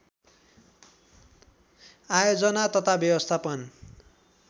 आयोजना तथा व्यवस्थापन